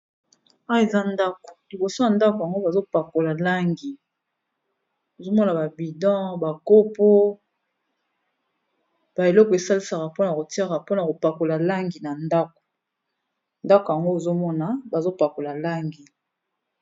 ah eza ndako liboso ya ndako yango bazopakola langi azomona babidan bakopo baeleko esalisaka mpona kotiara mpona kopakola langi na ndako ndako yango ozomona bazopakola langi